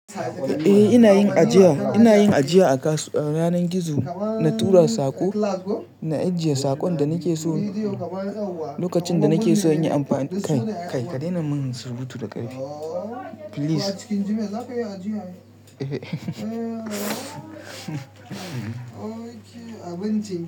Eh ina yin ajiya, ina yin ajiya a kasuwa. Ranar gizo na tura sako, na ajiye sakon da nake so lokacin da nake so in yi amfani kai, kai ka daina min surbutu da ƙarfi. Please.